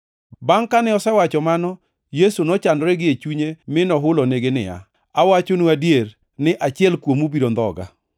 Bangʼ kane osewacho mano, Yesu nochandore gie chunye mi nohulonigi niya, “Awachonu adier, ni achiel kuomu biro ndhoga.”